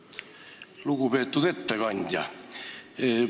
Lugupeetud ettekandja!